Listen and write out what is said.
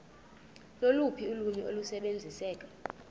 loluphi ulwimi olusebenziseka